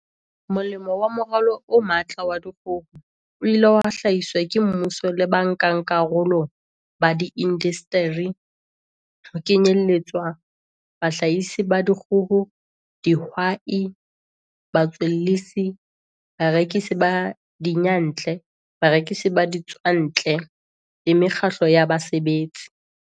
molemo wa Moralo o Matla wa Dikgoho, o ileng wa hlahiswa ke mmuso le ba nkakarolo ba diindasteri, ho kenyeletswa bahlahisi ba dikgoho, dihwai, batswellisi, barekisi ba diyantle, barekisi ba ditswantle le mekgatlo ya basebetsi.